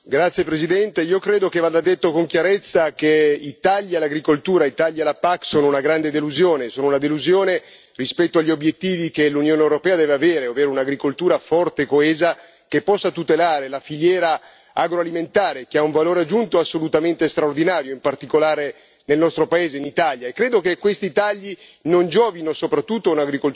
Signor Presidente, onorevoli colleghi, io credo che vada detto con chiarezza che i tagli all'agricoltura, i tagli alla PAC, sono una grande delusione. Sono una delusione rispetto agli obiettivi che l'Unione europea deve avere, ovvero un'agricoltura forte e coesa che possa tutelare la filiera agroalimentare, che ha un valore aggiunto assolutamente straordinario, in particolare nel nostro paese, in Italia.